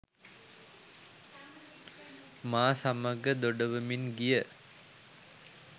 මා සමඟ දොඩවමින් ගිය